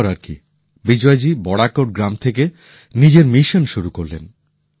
তারপর আর কি বিজয় জী বড়াকোট গ্রাম থেকে নিজের মিশন শুরু করলেন